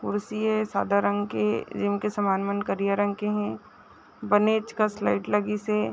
कुर्सी है सादा रंग के जिनके सामान मन करिया रंग के है बनेच कस लाईट लगिसॆ--